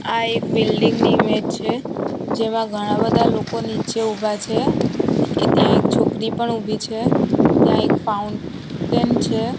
આ એક બિલ્ડીંગ ની ઈમેજ છે જેમાં ઘણા બધા લોકો નીચે ઊભા છે એ ત્યાં એક છોકરી પણ ઉભી છે ત્યાં એક ફાઉન્ટેન છે.